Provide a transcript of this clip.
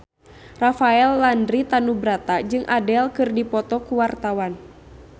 Rafael Landry Tanubrata jeung Adele keur dipoto ku wartawan